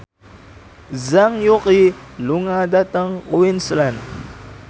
Zhang Yuqi lunga dhateng Queensland